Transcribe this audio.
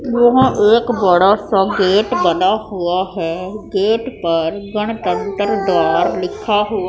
यहां एक बड़ा सा गेट बना हुआ है गेट पर गणतंत्र द्वार लिखा हुआ--